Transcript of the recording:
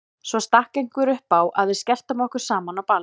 Svo stakk einhver upp á að við skelltum okkur saman á ball.